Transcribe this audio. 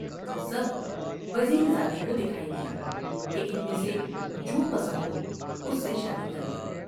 وہ سب وزیر زادے کو دکھائی گئیں کہ ان میں سے جو پسند ہواس سے شادی کر لے ۔